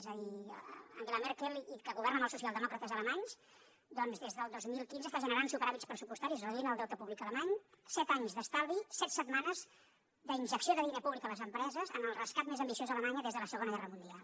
és a dir angela merkel que governa amb els socialdemòcrates alemanys doncs des del dos mil quinze està generant superàvits pressupostaris reduint el deute públic alemany set anys d’estalvi set setmanes d’injecció de diner públic a les empreses en el rescat més ambiciós a alemanya des de la segona guerra mundial